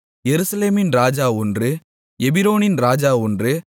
எருசலேமின் ராஜா ஒன்று எபிரோனின் ராஜா ஒன்று